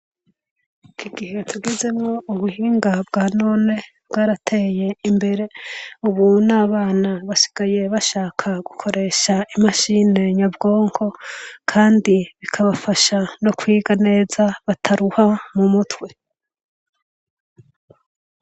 Iki gihe tugizemo, ubuhinga bwa none bwarateye imbere . Ubu n'abana basigaye bashaka gukoresha imashine nyabwongo kandi bikabafasha no kwiga neza bataruha mu mutwe.